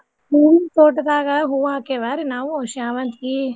ಹೂವೀನ್ ತೋಟದಾಗ ಹೂವಾ ಹಾಕೇವ್ಯಾರೀ ನಾವು ಶಾವಂತ್ಗಿ.